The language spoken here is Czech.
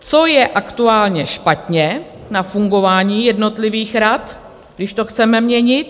Co je aktuálně špatně na fungování jednotlivých rad, když to chceme měnit?